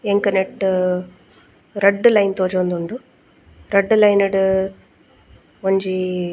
ಎಂಕ್ ನೆಟ್ಟ್ ರಡ್ಡ್ ಲೈನ್ ತೋಜೊಂದುಂಡು ರಡ್ಡ್ ಲೈನ್ ಡ್ ಒಂಜೀ.